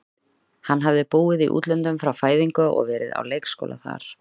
Hann hafði búið í útlöndum frá fæðingu og verið á leikskóla þar.